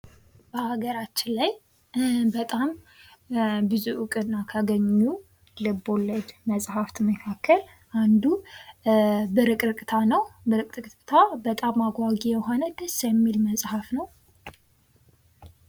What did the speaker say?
በሀገራችን ላይ በጣም ብዙ እውቅና ካገኙ ልብወለድ መጽሐፍት መካከል አንዱ ብርቅርቅታ ነው። ብርቅርቅታ በጣም አጓጊ የሆነ ደስ የሚል መጽሐፍ ነው።